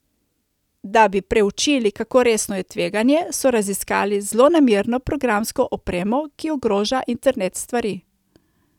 Da bi preučili, kako resno je tveganje, so raziskali zlonamerno programsko opremo, ki ogroža internet stvari.